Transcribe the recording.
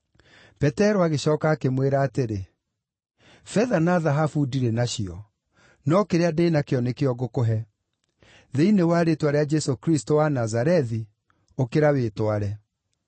Petero agĩcooka akĩmwĩra atĩrĩ, “Betha na thahabu ndirĩ nacio, no kĩrĩa ndĩ nakĩo nĩkĩo ngũkũhe. Thĩinĩ wa rĩĩtwa rĩa Jesũ Kristũ wa Nazarethi, ũkĩra wĩtware.”